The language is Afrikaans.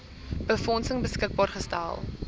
befondsing beskikbaar gestel